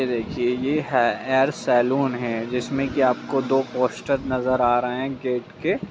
ये देखिए ये हेयर सैलून है जिसमें की आपको दो पोस्टर नजर आ रहे हैं गेट के --